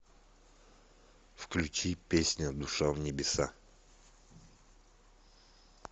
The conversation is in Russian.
включи песня душа в небеса